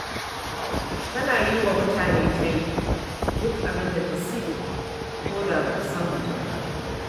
Tana yi wa mutane tayin duk abin da ta siya, ko da ba ta san mutum ba.